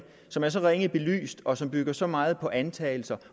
som er så ringe belyst og som bygger så meget på antagelser